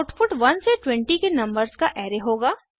output 1 से 20 के numbers का अराय होगा